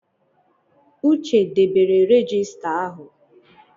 Uche debere regista ahụ.